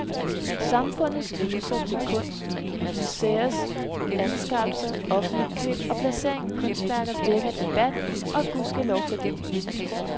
Samfundets ydelser til kunst, museers anskaffelser, offentlige køb og placeringer af kunstværker vækker debat, og gud ske lov for det.